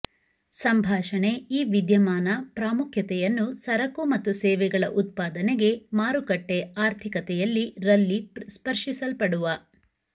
ಸಂಭಾಷಣೆ ಈ ವಿದ್ಯಮಾನ ಪ್ರಾಮುಖ್ಯತೆಯನ್ನು ಸರಕು ಮತ್ತು ಸೇವೆಗಳ ಉತ್ಪಾದನೆಗೆ ಮಾರುಕಟ್ಟೆ ಆರ್ಥಿಕತೆಯಲ್ಲಿ ರಲ್ಲಿ ಸ್ಪರ್ಶಿಸಲ್ಪಡುವ